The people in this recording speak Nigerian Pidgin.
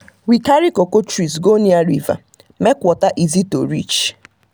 we carry cocoa trees go near river make water easy to reach.